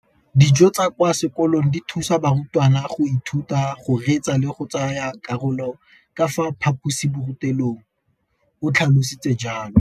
Dijo tsa kwa sekolong dithusa barutwana go ithuta, go reetsa le go tsaya karolo ka fa phaposiborutelong, o tlhalositse jalo.